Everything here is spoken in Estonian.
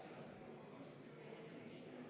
See ei ole protseduuriline.